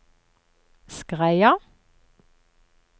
Skreia